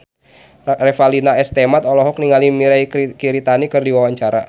Revalina S. Temat olohok ningali Mirei Kiritani keur diwawancara